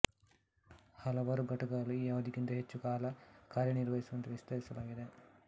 ಹಲವಾರು ಘಟಕಗಳು ಈ ಅವಧಿಗಿಂತ ಹೆಚ್ಚು ಕಾಲ ಕಾರ್ಯನಿರ್ವಹಿಸುವಂತೆ ವಿಸ್ತರಿಸಲಾಗಿದೆ